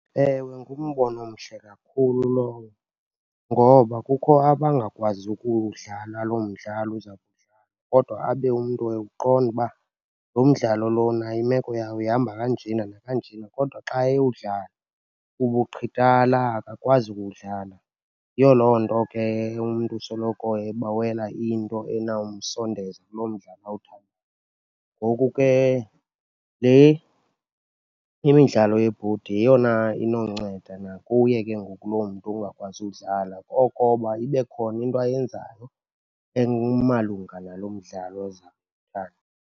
Ewe, ngumbono omhle kakhulu lowo ngoba kukho abangakwaziyo ukuwudlala loo mdlalo uza kudlalwa. Kodwa abe umntu ewuqonda uba lo mdlalo lona imeko yawo ihamba kanjena nakanjena, kodwa xa ewudlala ubuqhitala, akakwazi ukuwudlala. Yiyo loo nto ke umntu usoloko ebawela into enawumsondeza kuloo mdlalo . Ngoku ke le imidlalo yebhodi yeyona inonceda nakuye ke ngoku loo mntu ungakwazi uwudlala okoba ibe khona into ayenzayo emalunga nalo mdlalo .